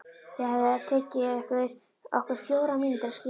Það hefði tekið okkur fjórar mínútur að skilja.